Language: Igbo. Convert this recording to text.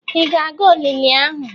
Ị ga-aga olili ahụ?